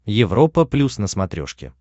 европа плюс на смотрешке